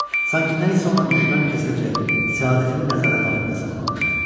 Sanki nə isə ona düşmən kəsiləcək, səadətini nəzarət altında saxlamışdı.